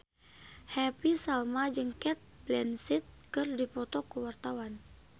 Happy Salma jeung Cate Blanchett keur dipoto ku wartawan